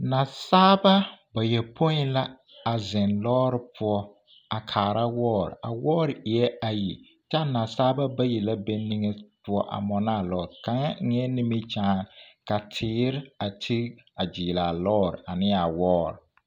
Nasaalba bayɔpoi la a zeŋ lɔɔre poɔ a kaara wɔɔre a wɔɔre eɛɛ ayi kyɛ a nasaalba bayi la be niŋe poɔ a mɔnaa lɔɔre, kaŋa eŋɛɛ nimikyaane ka teere a tigi a gyiiri a lɔɔre ane a wɔɔre.